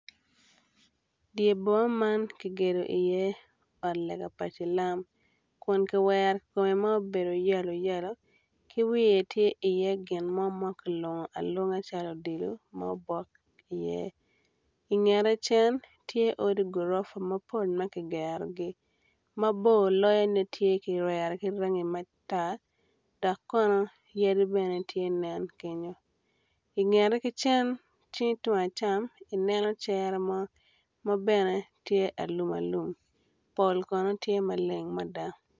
Dye boma man kigedo i iye ot lega pa cilam kun kiwero kome ma obedo yelo yelo ki wiye tye iye gin ma kilungu alunga calo odilo ma obok i iye igete cen tye odi gorofa ma kigerogi mabor loyone tye kiweo ki rangi matar dok kono yadi bene tye nen kenyo ingete ki cen icingi tung acam ineno cere mo ma bene tye alum alum pol kono tye maleng mada